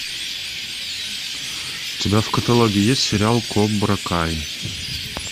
у тебя в каталоге есть сериал кобра кай